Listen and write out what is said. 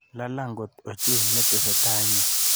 Lalang' kot ochei, nee netesetai inye?